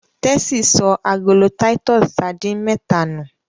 Tessy sọ agolo Titus sardines méta nu.